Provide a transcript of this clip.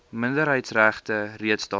minderheidsregte reeds daarin